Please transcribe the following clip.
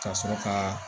Ka sɔrɔ kaa